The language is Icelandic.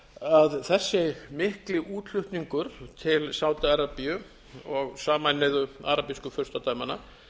þotueldsneytið þessi mikli útflutningur til sádi arabíu og sameinuðu arabísku furstadæmanna